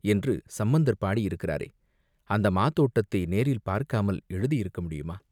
என்று சம்பந்தர் பாடியிருக்கிறாரே, அந்த மாதோட்டத்தை நேரில் பார்க்காமல் எழுதியிருக்க முடியுமா?